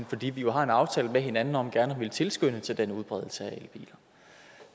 fordi vi jo har en aftale med hinanden om gerne at ville tilskynde til den udbredelse